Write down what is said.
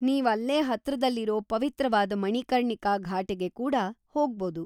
ನೀವ್‌ ‌ಅಲ್ಲೇ ಹತ್ರದಲ್ಲಿರೋ ಪವಿತ್ರವಾದ್ ಮಣಿಕರ್ಣಿಕಾ ಘಾಟಿಗ್ ಕೂಡ ಹೋಗ್ಬೋದು.